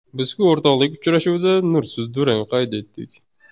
Biz-ku o‘rtoqlik uchrashuvida nursiz durang qayd etdik.